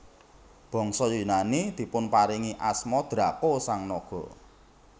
Bangsa Yunani dipunparingi asma Draco sang naga